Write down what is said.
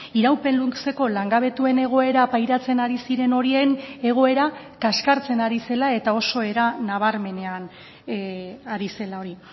iraupen luzeko langabetuen egoera pairatzen ari ziren horien egoera kaskartzen ari zela eta oso era nabarmenean ari zela hori